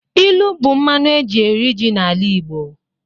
Ilu bụ mmanụ eji eri ji n'ala Igbo